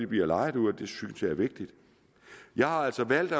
bliver lejet ud og det synes jeg er vigtigt jeg har altså valgt